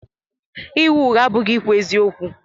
Ịgha ụgha abụghị ikwu eziokwu.